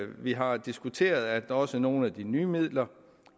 vi har diskuteret at også nogle af de nye midler